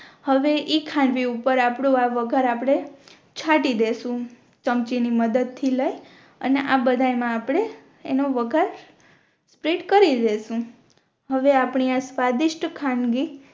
હવે ઇ ખાંડવી ઉપર આપણો આ વગાહર આપણે છાતી દેસું ચમચી ની મદદ થી લઈ અને આ બધા એમાં આપણે ઇનો વઘાર સ્પ્રેડ કરી દેસું આવે આપની આ સ્વાદિસ્ત ખાંડવી